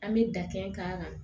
An bɛ dakɛn k'a kan